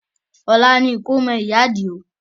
Ọ̀la ni ìkómọ ìyá Àdìó